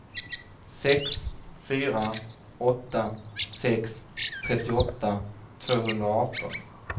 sex fyra åtta sex trettioåtta tvåhundraarton